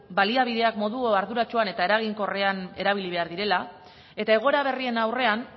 baliabideak modu arduratsuan eta eraginkorrean erabili behar direla eta egoera berrien aurrean